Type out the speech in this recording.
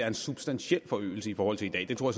en substantiel forøgelse i forhold til i dag det tror